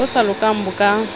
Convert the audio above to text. bo sa lokang bo ka